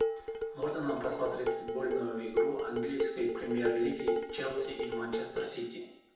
можно нам посмотреть футбольную игру английской премьер лиги челси и манчестер сити